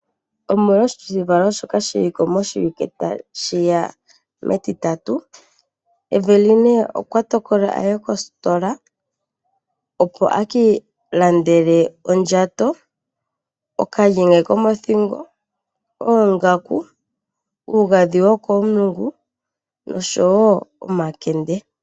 Aanangeshefa ohaya ningi omauliko giinima mbyoka yena okulanditha. Aakwashigwana ohaya landa iipumbiwa yawo ya yooloka pomahala mpaka, ngaashi oondjato, oongaku nosho wo tuu shoka ya pumbwa.